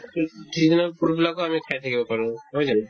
seasonal fruit বিলাকো আমি খাই থাকিব পাৰো নহয় জানো